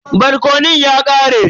Barkonon ya ƙare.